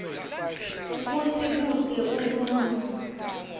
kutsi kute umuntfu